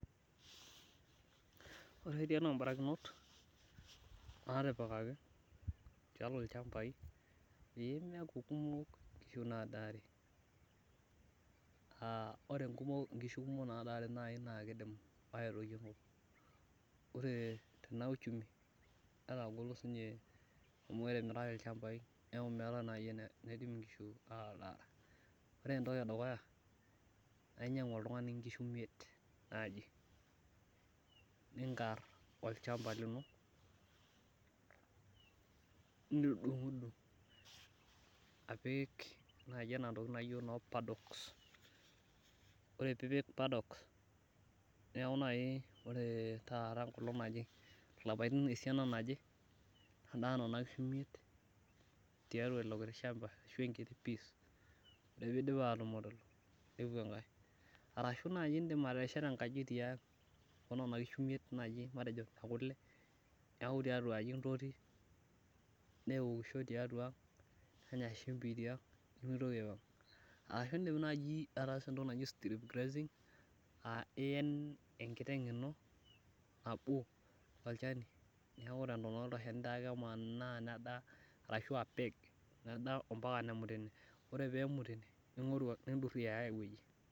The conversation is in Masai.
Ore tiatua barikinot natipikaki tialo ilchampai, meyieu nkishu kumok nadaare. Ore nkishu kumok naadarre naa kidim naaji aitoyio enkop .Ore tena uchumi metagolo amu etimiraki ilchampai neeku meetae naaji eweji neidim nkishu atadare. Ore ntoki edukuya, naa inyangu oltungani nkishu imiet naaji ,ninkar olchampa lino nidungudungu apik antoki naaji naijo noo paddocks Ore pee ipik paddocks, neeku ore naaji taata enkolong naje, lapaitin esiana naje nedaa nena kishu imiet, tiatua ilo kiti shampa ashu enkiti piece. Ore pee eidip atumut lelo, nepuo enake .Arashu naa ishet enkaji tiang onena kishu imiet ekule, neeku tiatuaji intoti neokishoi tiang, nenya shumpi tiang nemitoki aipang. Ashu indim naaji ataasa entoki naji strip grazing aa ien enkiteng ino, nabo tolchani neeku tentonata taake ilo shani emanaa nedaa mapaka nemut ine .Ore pee emut ine nundurie aya aiweji.